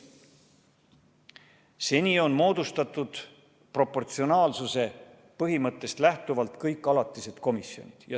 Seni on moodustatud proportsionaalsuse põhimõttest lähtuvalt kõik alatised komisjonid.